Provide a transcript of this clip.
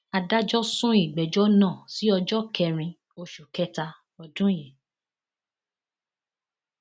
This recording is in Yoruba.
adájọ sún ìgbẹjọ náà sí ọjọ kẹrin oṣù kẹta ọdún yìí